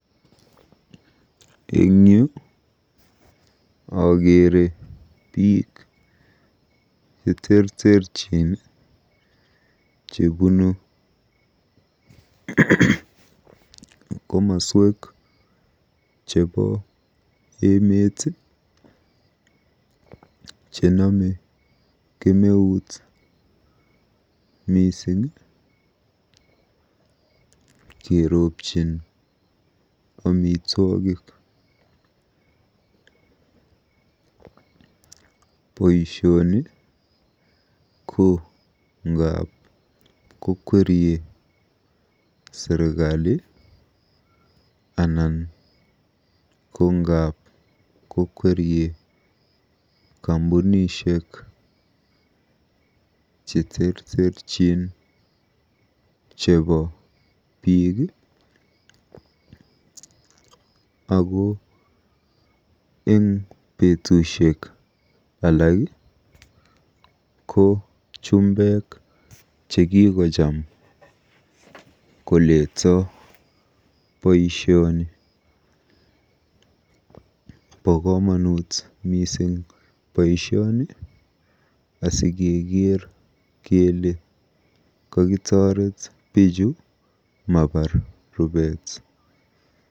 Eng yu akeere biik cheterterchin chebunu komaswek chebo emet chenome kemeut mising keropjin amitwogik. Boisioni ko ngaap kokwerie serikali anan ko ngap kokwerie kampunishek cheterterchin chebo biik ako eng betusiek alak ko chumbek chekikocham koleto boisioni. Bo komonut mising boisioni asikeker kele kokitoret biichu mabar rubeet.